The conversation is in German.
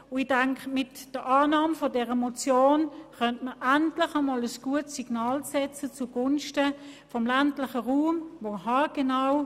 Ich denke, man könnte mit der Annahme dieser Motion endlich einmal ein Zeichen zugunsten des ländlichen Raums setzen.